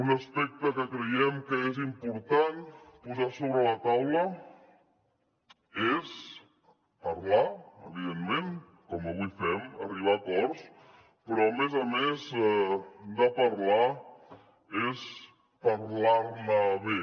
un aspecte que creiem que és important posar sobre la taula és parlar evidentment com avui fem arribar a acords però a més a més de parlar és parlar ne bé